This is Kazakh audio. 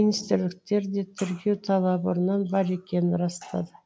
министрліктегілер де тіркеу талабы бұрыннан бар екенін растады